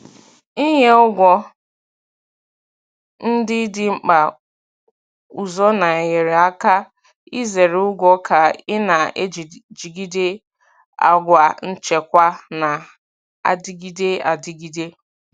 Ịnye ụgwọ ndị dị mkpa ụzọ na-enyere aka izere ụgwọ ka ị na-ejigide àgwà nchekwa na-adịgide adịgide.